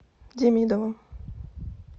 демидовым